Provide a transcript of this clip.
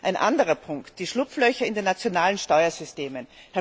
Ein anderer Punkt sind die Schlupflöcher in den nationalen Steuersystemen.